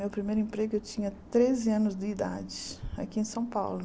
Meu primeiro emprego eu tinha treze anos de idade, aqui em São Paulo.